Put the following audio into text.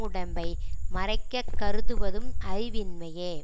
உடம்பை மறைக்கக் கருதுவதும் அறிவின்மையே